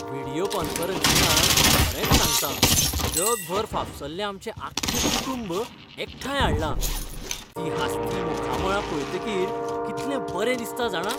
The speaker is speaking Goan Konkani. व्हिडियो कॉन्फरन्सिंगान, खरेंच सांगता, जगभर फाफसल्लें आमचें आख्खें कुटुंब एकठांय हाडलां, तीं हांसतीं मुखामळां पळयतकीर कितलें बरें दिसता, जाणा.